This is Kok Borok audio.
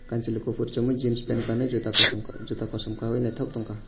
kansile kopor somoi jeans pant kanui jota kosom kosom ke jota kosom kanui naitok tongka.